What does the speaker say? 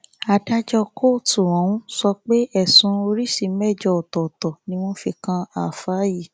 adájọ kóòtù ọhún sọ pé ẹsùn oríṣìí mẹjọ ọtọọtọ ni wọn fi kan ááfáà yìí